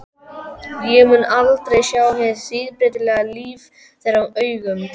Ég mun aldrei sjá hið síbreytilega líf þeirra augum.